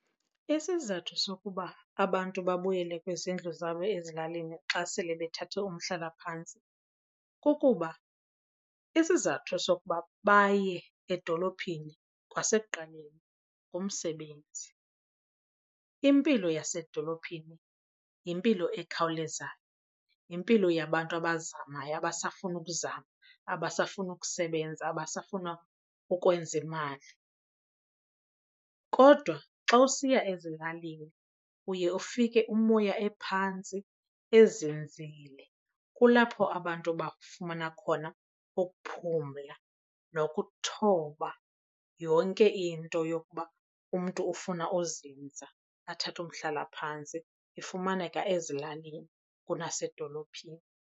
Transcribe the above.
Isizathu sokuba abantu babuyele kwizindlu zabo ezilalini xa sele bethathe umhlalaphantsi kukuba isizathu sokuba baye edolophini kwasekuqaleni ngumsebenzi. Impilo yasedolophini yimpilo ekhawulezayo, yimpilo yabantu abazamayo, abasafuna ukuzama, abasafuna ukusebenza, abasafuna ukwenza imali. Kodwa xa usiya ezilalini uye ufike umoya ephantsi ezinzile. Kulapho abantu bafumana khona ukuphumla nokuthoba. Yonke into yokuba umntu ufuna uzinza athathe umhlalaphantsi ifumaneka ezilalini kunasedolophini.